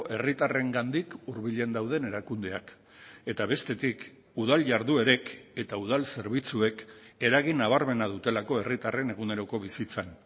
herritarrengandik hurbilen dauden erakundeak eta bestetik udal jarduerek eta udal zerbitzuek eragin nabarmena dutelako herritarren eguneroko bizitzan